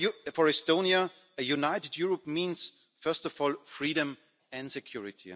For Estonia, a united Europe means, first of all, freedom and security.